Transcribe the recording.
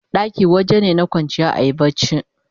ɗaki wajene na kwanciya ayi barci